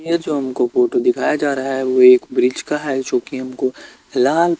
ये जो हमको फोटो दिखाया जा रहा है वो एक वृक्ष का है जोकि हमको लाल --